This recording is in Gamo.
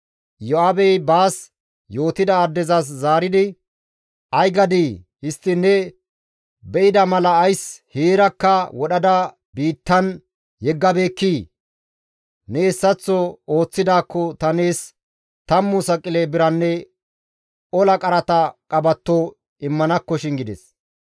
Iyo7aabey baas yootida addezas zaaridi, «Ay gadii? Histtiin ne be7ida mala ays heerakka wodhada biittan yeggabeekkii? Ne hessaththo ooththidaakko ta nees tammu saqile biranne ola qarata qabatto immanakkoshin» gides.